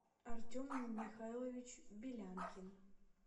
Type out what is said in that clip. артем михайлович белянкин